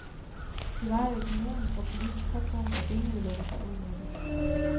De vejer økonomisk og politisk så tungt, at ingen vil lægge sig ud med det.